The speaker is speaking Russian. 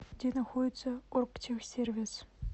где находится оргтехсервис